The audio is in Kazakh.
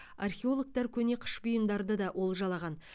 археологтар көне қыш бұйымдарды да олжалаған